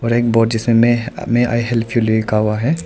और एक बोर्ड जिसमें मे आई हेल्प यू लिखा हुआ है।